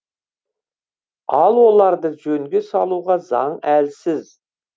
ал оларды жөнге салуға заң әлсіз